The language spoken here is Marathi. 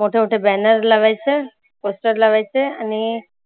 मोठ मोठे banner लावायचं poster लावायचं आणि